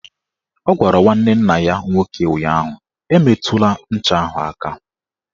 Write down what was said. Ọ gwara nwanne nna ya nwoke ụnyaahụ "Emetụla ncha ahụ aka!